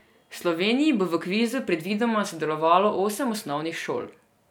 V Sloveniji bo v kvizu predvidoma sodelovalo osem osnovnih šol.